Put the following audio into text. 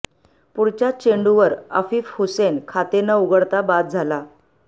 पुढच्याच चेंडूवर अफीफ हुसेन खाते न उघडता बाद झाला